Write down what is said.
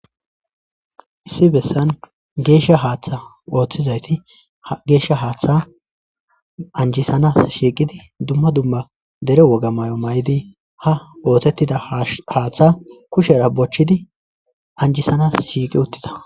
issi bessan geeshsha haaththa ooththizayti ha geeshsha haaththa anjisanas shiiqidi dumma dumma dere woga mayo mayidi ha oosettida haaththa kushera bochchidi anjisanas shiiqi uttida